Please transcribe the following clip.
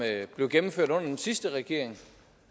blev gennemført under den sidste regering